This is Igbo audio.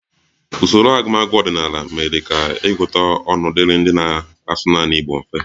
Usoro agụmagụ ọdịnala mere ka ịgụta ọnụ dịrị ndị na-asụ naanị Igbo mfe